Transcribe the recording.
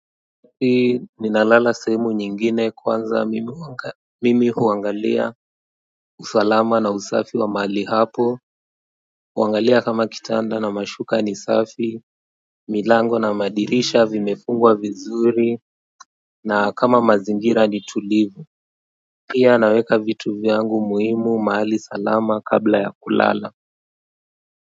Ninalala sehemu nyingine kwanza mimi huangalia usalama na usafi wa mahali hapo huangalia kama kitanda na mashuka ni safi, milango na madirisha vimefungwa vizuri na kama mazingira ni tulivu pia naweka vitu vyangu muhimu mahali salama kabla ya kulala.